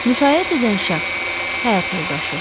Müşayiət edən şəxs — həyat yoldaşı.